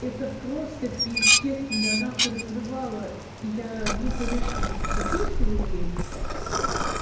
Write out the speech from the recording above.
это просто пиздец меня нахуй разрывало я ну конечно же посочувствовала ей